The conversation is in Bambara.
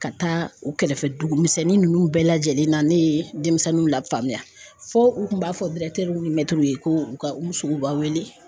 Ka taa u kɛrɛfɛ dugumisɛnnin ninnu bɛɛ lajɛlen na ne ye denmisɛnninw lafaamuya fo u tun b'a fɔ ni mɛtiriw ye ko ka Umu Sogoba weele